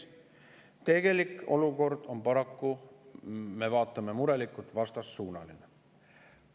Aga tegelik olukord on paraku – me vaatame murelikult – vastassuunaline.